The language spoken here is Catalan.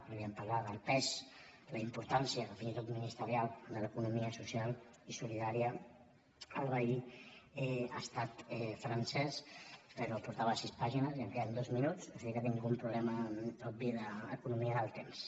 podríem parlar del pes la importància fins i tot ministerial de l’economia social i solidària al veí estat francès però portava sis pàgines i em queden dos minuts o sigui que tinc un problema obvi d’economia del temps